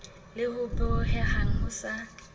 le ho bohehang ho sa